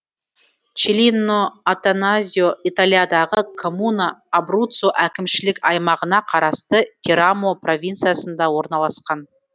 челлино аттаназьо италиядағы коммуна абруццо әкімшілік аймағына қарасты терамо провинциясында орналасқан